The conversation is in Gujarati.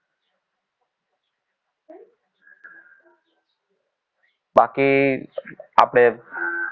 બાકી આપણે